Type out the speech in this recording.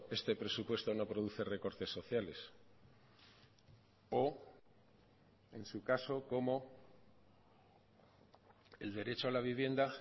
este presupuesto no produce recortes sociales o en su caso cómo el derecho a la vivienda